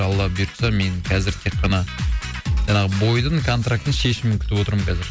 алла бұйыртса мен қазір тек қана жаңағы бойдың контрактінің шешімін күтіп отырмын қазір